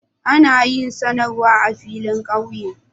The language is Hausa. Ana yin sanarwa a filin ƙauye.